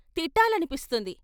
తిట్టాలని పిస్తుంది....